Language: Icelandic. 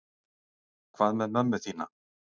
Hvað með mömmu þína?